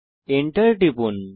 Enter টিপুন